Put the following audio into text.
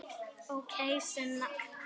Ókei, Sunna.